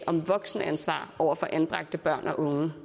om voksenansvar over for anbragte børn og unge